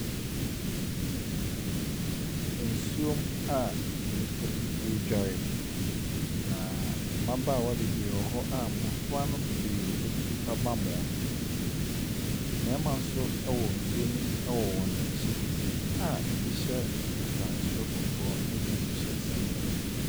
Nsuo mu a nnipa bi ɛredware, na mmabaawa no bebree wɔ hɔ a mmɔfra no bebree atua bm wɔn. mmarima nso wɔ nsuo ne mu wɔ akyi a ɛbi hyɛ ataare soro kɔkɔɔ na bi nso hyɛ singlet.